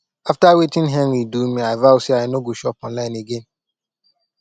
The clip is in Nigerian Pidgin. after wetin henry do me i vow say i no go shop online again